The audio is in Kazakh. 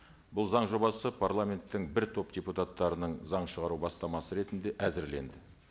бұл заң жобасы парламенттің бір топ депутаттарының заң шығару бастамасы ретінде әзірленді